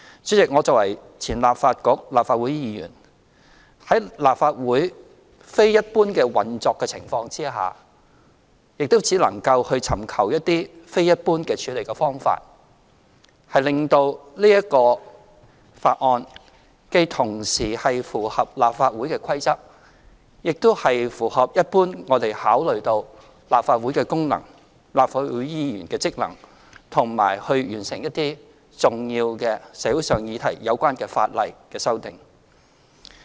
主席，我作為前立法局、立法會議員，在立法會非一般運作的情況下，亦只能夠尋求一些非一般處理方法，令到此法案既同時符合立法會的規則，亦符合我們一般考慮到立法會的功能、立法會議員的職能，以及完成一些與重要社會議題有關的法例修訂。